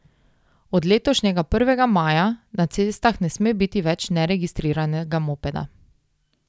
Od letošnjega prvega maja na cestah ne sme biti več neregistriranega mopeda.